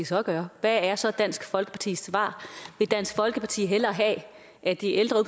så gøre hvad er så dansk folkepartis svar vil dansk folkeparti hellere have at de ældre